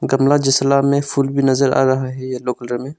गमला जसला में फूल भी नजर आ रहा है येलो कलर में।